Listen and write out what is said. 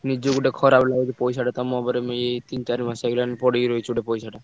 ନିଜକୁ ଗୋଟେ ଖରାପ ଲାଗୁଚି ପଇସା ଟା ତମ ଉପରେ ଏଇ ତିନି ଚାରି ମାସ ହେଇଗଲାଣି ପଡିକି ରହିଛି ଗୋଟେ ପଇସାଟା।